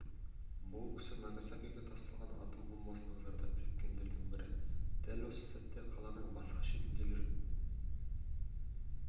бұл кісі нагасакиге тасталған атом бомбасынан зардап шеккендердің бірі дәл осы сәтте қаланың басқа шетінде жүріп